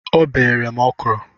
O bere m ọkrọ